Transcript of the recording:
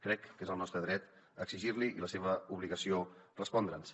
crec que és el nostre dret exigir li i la seva obligació respondre’ns